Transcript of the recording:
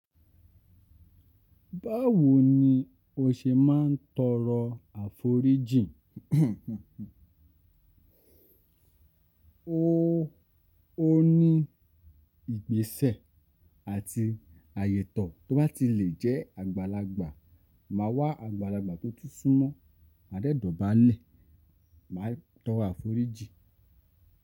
Báwo ni o ṣe máa ń tọrọ àforíjì? O, o ní ìgbésẹ̀ àti àyẹ̀tọ̀ tó bá ti lè jẹ́ àgbàlagbà. Máa wá àgbàlagbà tó tún sún mọ́, mà dẹ́ dọ̀bálẹ̀ máa tọrọ àforíjì.